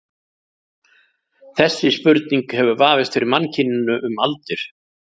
Þessi spurning hefur vafist fyrir mannkyninu um aldir.